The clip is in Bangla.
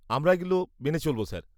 -আমরা এগুলো মেনে চলব স্যার।